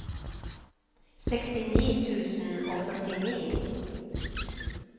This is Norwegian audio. sekstini tusen og førtini